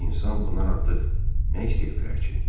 İnsan bundan artıq nə istəyə bilər ki?